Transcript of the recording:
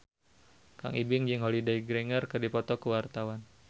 Kang Ibing jeung Holliday Grainger keur dipoto ku wartawan